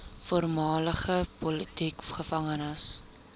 voormalige politieke gevangenes